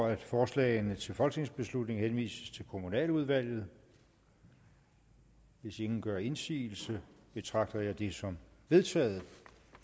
at forslagene til folketingsbeslutning henvises til kommunaludvalget hvis ingen gør indsigelse betragter jeg det som vedtaget